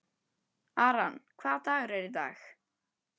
Aran, hvaða dagur er í dag?